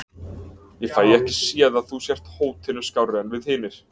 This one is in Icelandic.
Ég fæ ekki séð að þú sért hótinu skárri en við hinir.